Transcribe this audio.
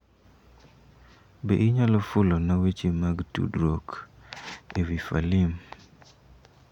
Be inyalo fulona weche mag tudruok ewi Falim?